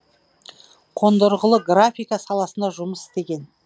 қондырғылы графика саласында жұмыс істеген